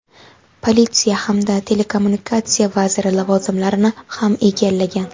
politsiya hamda telekommunikatsiya vaziri lavozimlarini ham egallagan.